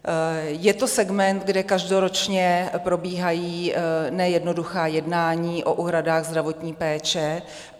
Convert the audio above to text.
Je to segment, kde každoročně probíhají nejednoduchá jednání o úhradách zdravotní péče.